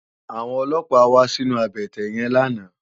Àwòn ólópá wà sinú àbètè yèn làná